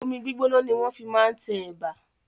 Omi gbígbóná ni wọ́n fi máa ń tẹ ẹ̀bà.